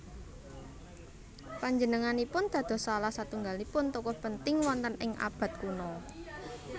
Panjenenganipun dados salah satunggalipun tokoh penting wonten ing abad kuno